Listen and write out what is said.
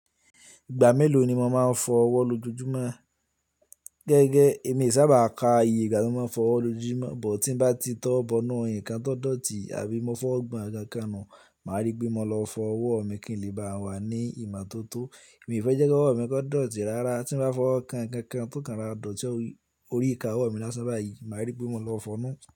Ìgbà mélòó ni mo máa ń fọ ọwọ́ lójoojúmọ́? Gẹ́gẹ́, èmi e sa ba à ka ìgbà tí mo máa ń fọ ọwọ́ lójoojúmọ́, but tí n bá ti tówo bọnu nǹkan tó dọ̀tí àbí mọ́ fọ́ gbọ̀n nkan kan nù, màá rí pé mo lọ fọ ọwọ́ mi kí n lè bá a wà ní ìmọ́tótó. Mi fẹ́ jẹ́ kí ọwọ́ mi gan o dọ̀tí rárá, tí n bá fọ ọkàn kan kan tó kán rora dọ̀tí orí ìka ọwọ́ mi lásán láàyè, màá rí pé mo lọ fọnu.